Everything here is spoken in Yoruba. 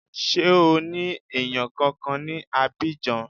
Ṣé o ní èèyàn kankan ní Abidjan